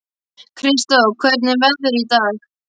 Kristó, hvernig er veðrið í dag?